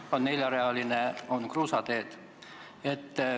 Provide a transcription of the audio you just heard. Jutuks on olnud neljarealised maanteed ja ka kruusateed.